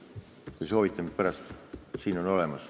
Kui te soovite, siis nimed on mul siin olemas.